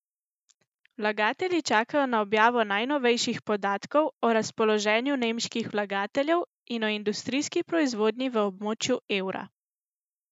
Vlagatelji čakajo na objavo najnovejših podatkov o razpoloženju nemških vlagateljev in o industrijski proizvodnji v območju evra.